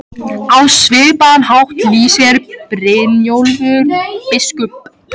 Á svipaðan hátt lýsir Brynjólfur biskup